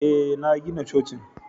Ee, na gina cocin